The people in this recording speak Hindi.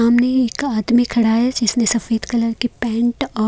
सामने एक आदमी खड़ा है जिसने सफेद कलर की पेंट औ--